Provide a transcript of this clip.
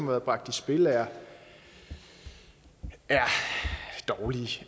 været bragt i spil er er dårlige